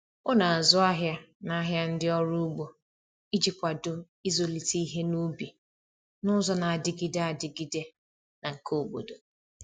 O na-azụ ahịa n’ahịa ndị ọrụ ugbo iji kwado ịzụlite ihe ubi n’ụzọ na-adịgide adịgide na nke obodo.